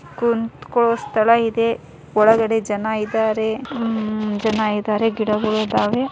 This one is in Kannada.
ಕುಂತಕೋ ಸ್ಥಳ ಇದೆ ಒಳಗಡೆ ಜನ ಇದಾರೆ ಉಹ್ ಜನ ಇದಾರೆ ಗಿಡಗಳು ಇದಾವೆ.